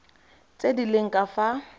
tse di leng ka fa